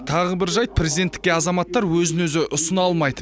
тағы бір жайт президенттікке азаматтар өзін өзі ұсына алмайды